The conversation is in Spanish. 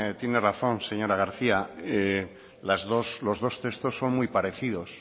tiene razón señora garcía los dos textos son muy parecidos